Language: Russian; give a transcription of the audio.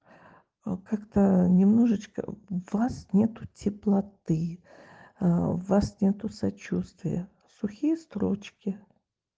о как-то немножечко в вас нету теплоты в вас нету сочувствие сухие строчки